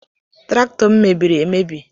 Traktọ m mebiri emebi.